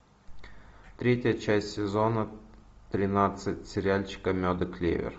третья часть сезона тринадцать сериальчика мед и клевер